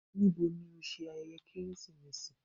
Níbó ní o ṣẹ̀ ayẹyẹ Keresimesi?